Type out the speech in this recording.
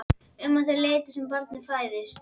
Um það leyti sem barnið fæðist.